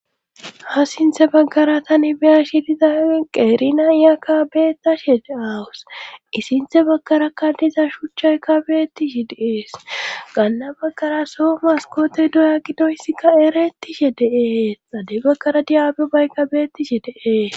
ha sinthe baggara tani biya shidiza qeerina iya kabeetashe de aawus isinthe baggarakka diza shuchchaykka beettishi deees gaanna baggara so maskote doya gidoyssikka ereettishe deee xade baggara diyaab baykka beettishe deee